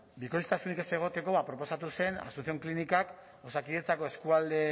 bikoiztasunik ez egoteko proposatu zen asunción klinikak osakidetzako eskualde